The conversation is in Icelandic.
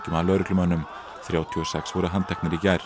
að lögreglumönnum þrjátíu og sex voru handteknir í gær